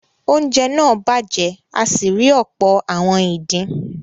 oúnjẹ náà bàjẹ́ a sì rí ọ̀pọ̀ “ àwọn ìdin”.